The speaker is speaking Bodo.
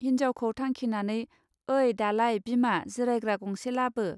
हिन्जावखौ थांखिनानै ओइ दालाय बिमा जिरायग्रा गंसे लाबो.